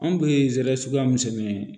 Anw bɛ zɛrɛ suguya misɛn ye